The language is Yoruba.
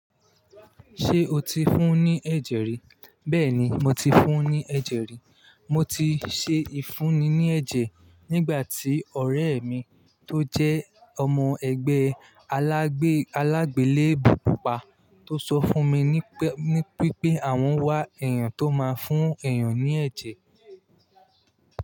Ṣé o ti fún un ní ẹ̀jẹ̀ rí? Bẹ́ẹ̀ni, mo ti fún un ní ẹ̀jẹ̀ rí. Mo ti ṣe ìfúnni ní ẹ̀jẹ̀ nígbà tí ọ̀rẹ́ mi tó jẹ́ ọmọ ẹgbẹ́ alágbèlé ibùkún pa tó sọ fún mi wípé àwọn wá èèyàn tó máa ń fún èèyàn ní ẹ̀jẹ̀.